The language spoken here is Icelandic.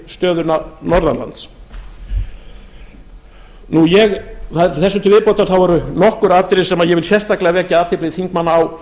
stöðuna norðanlands þessu til viðbótar eru nokkur atriði sem ég vil sérstaklega vekja athygli þingmanna á